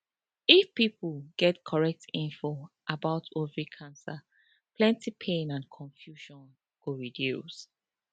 if pipo get correct info about the ovary cancer plenty pain and confusion go reduce